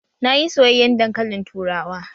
Na yi soyayyen dankalin turawa